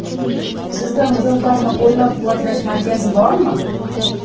Sizda mijozlarni qo‘llab-quvvatlash markazi bormi?